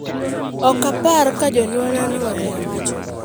"Ok apar ka jonyuolna ne ong'eyo," owacho.